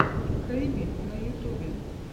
хэйви на ютубе